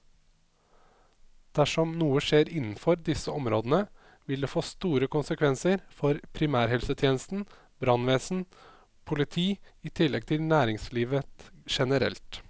Dersom noe skjer innenfor disse områdene, vil det få store konsekvenser for primærhelsetjenesten, brannvesen, politi i tillegg til næringslivet generelt.